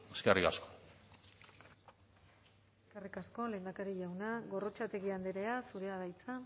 eskerrik asko eskerrik asko lehendakari jauna gorrotxategi andrea zurea da hitza